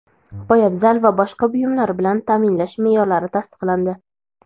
poyabzal va boshqa buyumlar bilan taʼminlash meʼyorlari tasdiqlandi.